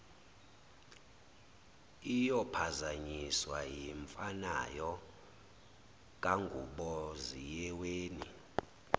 iyophazanyiswa yimfanayo kanguboziyeweni